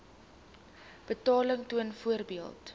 betaling toon byvoorbeeld